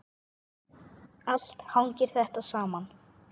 Allt hangir þetta saman.